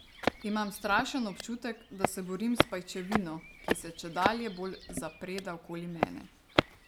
Imam strašen občutek, da se borim s pajčevino, ki se čedalje bolj zapreda okoli mene.